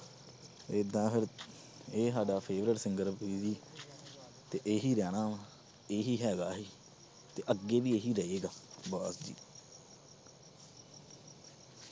ਏਦਾਂ ਫਿਰ ਇਹ ਸਾਡਾ favourite singer ਤੇ ਇਹੀ ਰਹਿਣਾ ਵਾਂ, ਇਹੀ ਹੈਗਾ ਤੇ ਅੱਗੇ ਵੀ ਇਹੀ ਰਹੇਗਾ, ਬਸ ਜੀ।